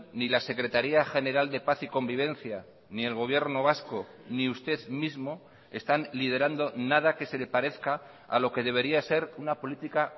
ni la secretaría general de paz y convivencia ni el gobierno vasco ni usted mismo están liderando nada que se le parezca a lo que debería ser una política